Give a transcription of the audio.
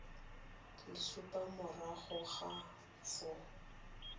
le supa morago ga foo